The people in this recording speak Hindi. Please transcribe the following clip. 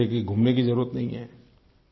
साथ ले करके घूमने की जरुरत ही नहीं है